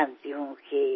కానీ నాకు తెలుసు